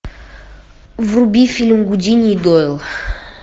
вруби фильм гудини и дойл